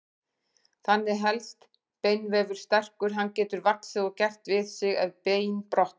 Þannig helst beinvefur sterkur, hann getur vaxið og gert við sig ef bein brotna.